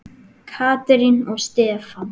Katrín og Stefán.